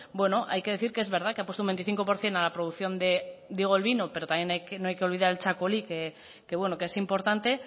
hay que decir que es verdad que han puesto un veinticinco por ciento a la producción digo el vino pero tampoco hay que olvidar el txakoli que es importante